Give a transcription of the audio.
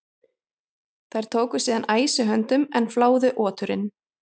Þeir tóku síðan æsi höndum en fláðu oturinn.